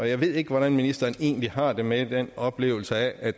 jeg ved ikke hvordan ministeren egentlig har det med den oplevelse af